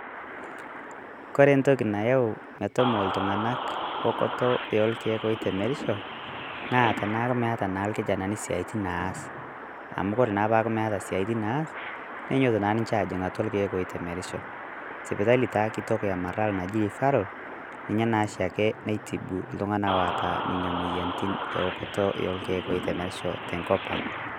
Kore ntoki nayau metomoo ltung'anak okotoo oolkiek oitemerisho, naa taneaku meeta naa lkijanani siatin naas amu kore paaku meeta siatin neas nenyooto naa ninchee ajing' atua lkiek otemerisho. Sopitali taa kitook e marlal naji rifaral ninye naa shaake naitibu ltung'ana oota enia moyarritin e okoto olkiek oitemerisho te nkopang.